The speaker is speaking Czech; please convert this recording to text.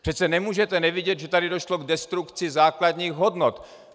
Přece nemůžete nevidět, že tady došlo k destrukci základních hodnot.